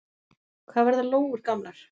Hvað verða lóur gamlar?